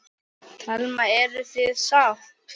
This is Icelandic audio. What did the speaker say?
Telma: Eruð þið sátt?